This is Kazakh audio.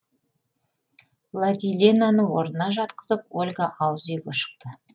владиленаны орнына жатқызып ольга ауыз үйге шықты